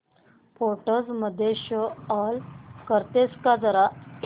photos मध्ये show all करतेस का जरा